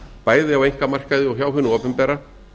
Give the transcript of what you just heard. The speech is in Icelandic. bæði á einkamarkaði og hjá hinu opinbera